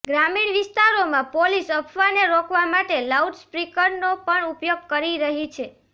ગ્રામીણ વિસ્તારોમાં પોલીસ અફવાને રોકવા માટે લાઉડસ્પીકરનો પણ ઉપયોગ કરી રહી છે